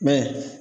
Mɛ